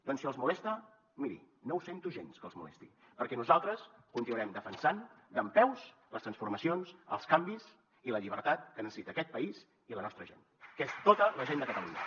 doncs si els molesta miri no ho sento gens que els molesti perquè nosaltres continuarem defensant dempeus les transformacions els canvis i la llibertat que necessita aquest país i la nostra gent que és tota la gent de catalunya